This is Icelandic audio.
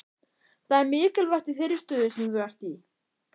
Það er mikilvægt í þeirri stöðu sem þú ert í.